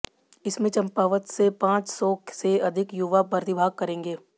इसमें चंपावत से पांच सौ से अधिक युवा प्रतिभाग करेंगे